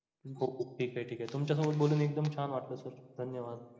ठीक आहे ठीक आहे तुमच्या सोबत बोलून एकदम छान वाटलं sir धन्य वाद!